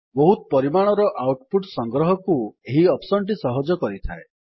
ବହୁତ ପରିମାଣର output ସଂଗ୍ରହକୁ ଏହି ଅପ୍ସନ୍ ଟି ସହଜ କରିଥାଏ